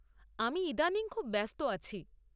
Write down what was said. আমি ইদানিং খুব ব্যস্ত আছি।